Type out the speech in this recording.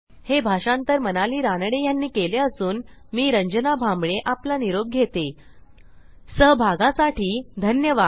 हे भाषांतर मनाली रानडे ह्यांनी केले असून मी रंजना भांबळे आपला निरोप घेते सहभागासाठी धन्यवाद